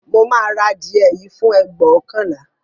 Mo máa ra adìẹ yìí fún ẹgbóokànlá